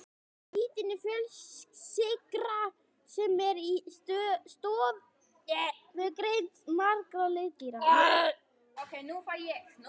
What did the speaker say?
Kítín er fjölsykra sem er í stoðgrind margra liðdýra.